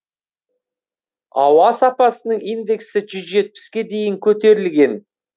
ауа сапасының индексі жүз жетпіске дейін көтерілген